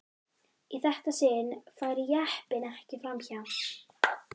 Í þetta sinn færi jeppinn ekki fram hjá.